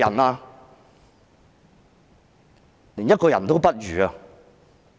你們是甚至一個人也不如。